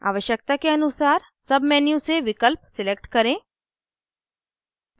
आवश्यकता के अनुसार submenu से विकल्प select करें